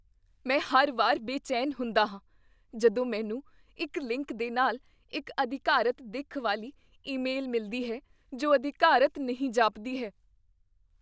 ਮੈਂ ਹਰ ਵਾਰ ਬੇਚੈਨ ਹੁੰਦਾ ਹਾਂ ਜਦੋਂ ਮੈਨੂੰ ਇੱਕ ਲਿੰਕ ਦੇ ਨਾਲ ਇੱਕ ਅਧਿਕਾਰਤ ਦਿੱਖ ਵਾਲੀ ਈਮੇਲ ਮਿਲਦੀ ਹੈ ਜੋ ਅਧਿਕਾਰਤ ਨਹੀਂ ਜਾਪਦੀ ਹੈ।